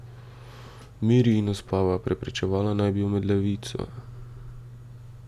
Miri in uspava, preprečevala naj bi omedlevico.